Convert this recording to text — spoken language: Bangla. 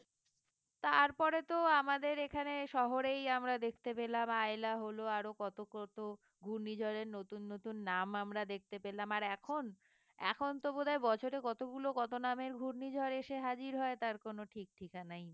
তারপরে তো আমাদের এখানে শহরেই আমরা দেখতে পেলাম আইলা হল আরো কত কত ঘূর্ণিঝড়ের নতুন নতুন নাম আমরা দেখতে পেলাম আর এখন এখনতো বোধহয় বছরে কতগুলো কত নামের ঘূর্ণিঝড় এসে হাজির হয় তার কোন ঠিক ঠিকানাই নেই